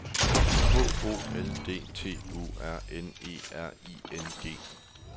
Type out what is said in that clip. H O L D T U R N E R I N G